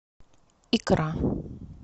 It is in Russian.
икра